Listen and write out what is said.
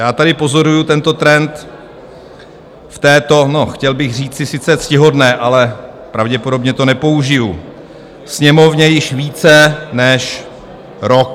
Já tady pozoruji tento trend v této - no, chtěl bych říci sice ctihodné, ale pravděpodobně to nepoužiji - Sněmovně již více než rok.